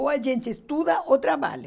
Ou a gente estuda ou trabalha.